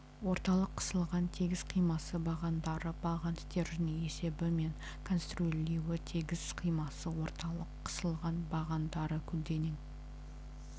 орталық қысылған тегіс қимасы бағандары баған стержені есебі мен конструирлеуі тегіс қимасы орталық қысылған бағандары көлденең